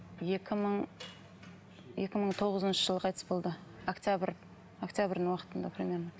екі мың екі мың тоғызыншы жылы қайтыс болды октябрь октябрьдің уақытында примерно